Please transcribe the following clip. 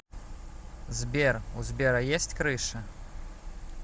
сбер у сбера есть крыша